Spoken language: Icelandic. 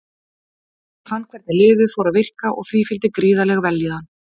Ég fann hvernig lyfið fór að virka og því fylgdi gríðarleg vellíðan.